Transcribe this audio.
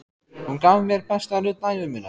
Hún gaf mér besta nudd ævi minnar.